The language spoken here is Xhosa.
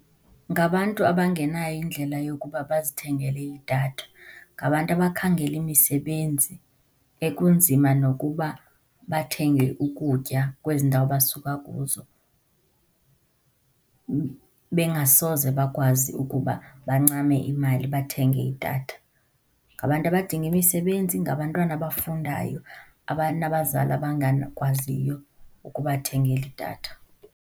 Ngabantu abangenayo indlela yokuba bazithengele idatha. Ngabantu abakhangela imisebenzi ekunzima nokuba bathenge ukutya kwezi ndawo basuka kuzo, bengasoze bakwazi ukuba bancame imali bathenge idatha. Ngabantu abadinga imisebenzi, ngabantwana abafundayo abanabazali abangakwaziyo ukubathengela idatha.